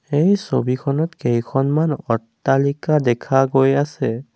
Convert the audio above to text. এই ছবিখনত কেইখনমান অট্টালিকা দেখা গৈ আছে।